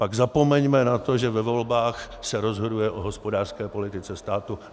Pak zapomeňme na to, že ve volbách se rozhoduje o hospodářské politice státu.